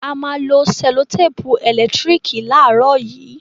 A má a lo sẹ́lòtèpù ẹ̀lẹ́tírìkì láàrọ̀ yìí.